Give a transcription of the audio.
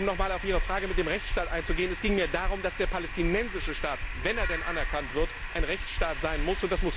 Um noch einmal auf Ihre Frage mit dem Rechtsstaat einzugehen Es ging mir darum, dass der palästinensische Staat, wenn er denn anerkannt wird, ein Rechtsstaat sein muss.